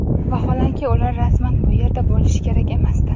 Vaholanki, ular rasman bu yerda bo‘lishi kerak emasdi.